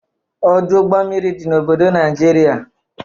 Ọdụ ụgbọ mmiri dị n'obodo Najiria.